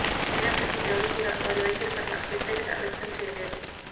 అయినప్పటికీ ఎవరు కూడా వారి వైఖరి పట్ల వ్యతిరేకత వ్యక్తం చేయలేదు